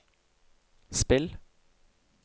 spill